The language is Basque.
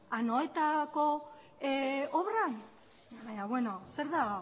anoetarako obran baina beno zer da